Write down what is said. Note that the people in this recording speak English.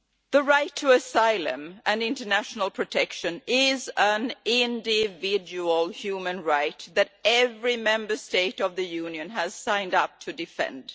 The right to asylum and international protection is an individual human right that every Member State of the Union has signed up to defend.